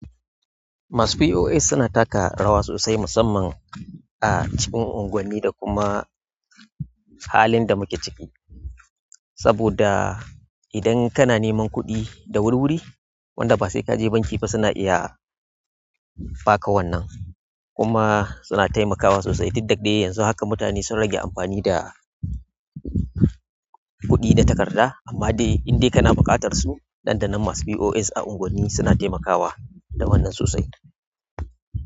Masu POS suna taka rawa sosai musamman a cikin unguwanni da kuma halin da muke ciki. Saboda idan kana neman kuɗi da wuri-wuri, wanda ba sai ka je banki ba suna iya ba ka wannan. Kuma suna taimakawa sosai. Duk dadɗe yanzu haka mutane sun rage amfani da kuɗi da takarda amma dai indai kana buƙatar su, nan da nan masu POS a unguwanni suna taimakawa da wannan sosai.